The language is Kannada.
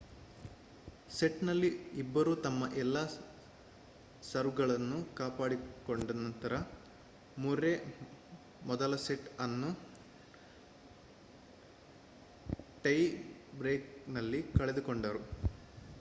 ಸೆಟ್‌ನಲ್ಲಿ ಇಬ್ಬರೂ ತಮ್ಮ ಎಲ್ಲಾ ಸರ್ವ್‌ಗಳನ್ನು ಕಾಪಾಡಿಕೊಂಡ ನಂತರ ಮುರ್ರೆ ಮೊದಲ ಸೆಟ್‌ ಅನ್ನು ಟೈ ಬ್ರೇಕ್‌ನಲ್ಲಿ ಕಳೆದುಕೊಂಡರು